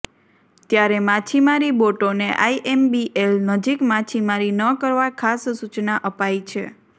ત્યારે માછીમારી બોટોને આઇએમબીએલ નજીક માછીમારી ન કરવા ખાસ સુચના અપાઇ છે